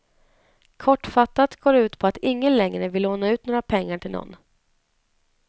Kortfattat går det ut på att ingen längre vill låna ut några pengar till någon.